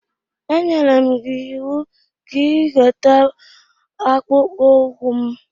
E nyere gị m iwu ka ị weta akpụkpọ ụkwụ m!